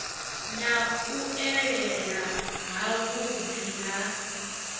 na u elela havhuḓi ha